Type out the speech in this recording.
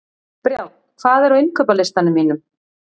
Brjánn, hvað er á innkaupalistanum mínum?